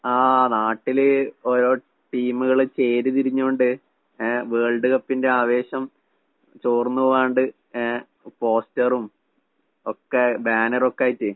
ആഹ് നാട്ടില് ഓരോ ടീംകള് ചേരി തിരിഞ്ഞോണ്ട് ഏഹ് വേൾഡ് കപ്പിന്റെ ആവേശം ചോർന്ന് പോകാണ്ട് ഏഹ് പോസ്റ്ററും ഒക്കെ ബാനറൊക്കായിട്ട്